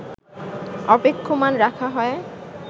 অপেক্ষমাণ রাখা হয়